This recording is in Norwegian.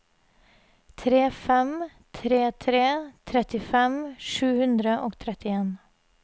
tre fem tre tre trettifem sju hundre og trettien